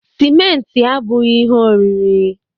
Sịmentị abughị ihe oriri